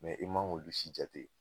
i ma k'olu si jate